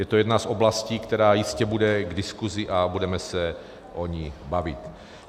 Je to jedna z oblastí, která jistě bude k diskusi, a budeme se o ní bavit.